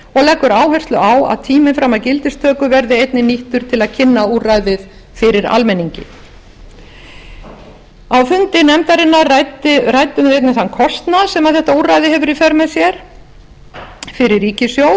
leggur áherslu á að tíminn fram að gildistöku verði einnig nýttur til að kynna úrræðið fyrir almenningi á fundi nefndarinnar ræddum við einnig þann kostnað sem þetta úrræði hefur í för með sér fyrir ríkissjóð